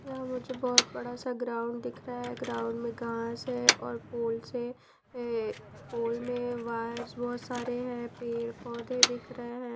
यहां मुझे बहुत बड़ा सा ग्राउंड दिख रहा है ग्राउंड में घास है और पोल से पोल में वायर्स बहुत सारे हैं पेड़ पौधे दिख रहे हैं।